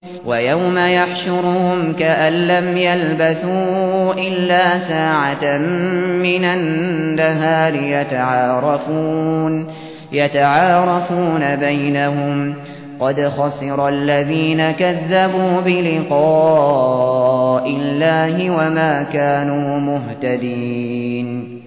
وَيَوْمَ يَحْشُرُهُمْ كَأَن لَّمْ يَلْبَثُوا إِلَّا سَاعَةً مِّنَ النَّهَارِ يَتَعَارَفُونَ بَيْنَهُمْ ۚ قَدْ خَسِرَ الَّذِينَ كَذَّبُوا بِلِقَاءِ اللَّهِ وَمَا كَانُوا مُهْتَدِينَ